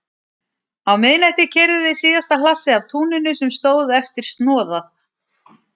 Á miðnætti keyrðu þau síðasta hlassið af túninu sem stóð eftir snoðað.